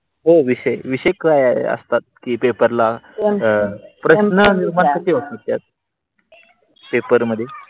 हो विषय विषय काय असतात. कि पेपरा ला ह पेपर मध्ये?